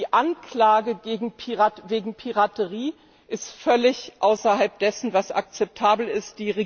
Die Anklage wegen Piraterie ist völlig außerhalb dessen, was akzeptabel ist.